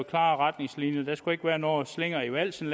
klare retningslinjer der skal ikke længere være nogen slinger i valsen